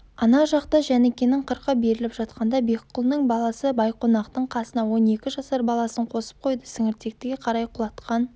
ана жақта жәнікенің қырқы беріліп жатқанда бекқұлының баласыбайқонақтың қасына он екі жасар баласын қосып қойды сіңіртектіге қарай құлатқан